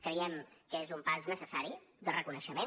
creiem que és un pas necessari de reconeixement